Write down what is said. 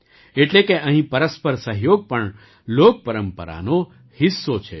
એટલે કે અહીં પરસ્પર સહયોગ પણ લોકપરંપરાનો હિસ્સો છે